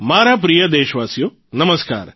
મારા પ્રિય દેશવાસીઓ નમસ્કાર